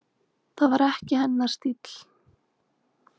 Það var ekki hennar stíll.